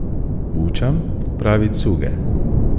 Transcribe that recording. Bučam pravi cuge.